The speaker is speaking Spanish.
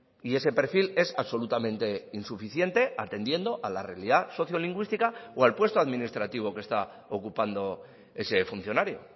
y ese perfil es absolutamente insuficiente atendiendo a la realidad sociolingüística o al puesto administrativo que está ocupando ese funcionario